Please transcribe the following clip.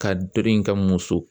Ka in kɛ muso